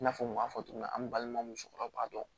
I n'a fɔ n kun y'a fɔ cogo min na an balima musokɔrɔba don